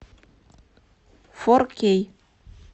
фор кей